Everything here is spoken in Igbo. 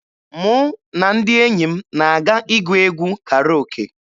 Mụ na ndị enyi m na-aga ịgụ egwu Karoke.